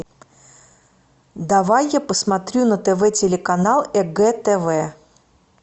давай я посмотрю на тв телеканал егэ тв